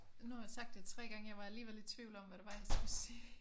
Nu har jeg sagt det 3 gange. Jeg var alligevel i tvivl om hvad det var jeg skulle sige